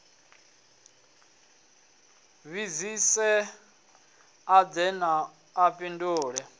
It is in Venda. vhidziwe a de a fhindule